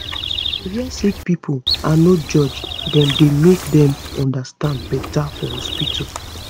to hear sick pipo and no judge dem dey make dem understand beta for hospitol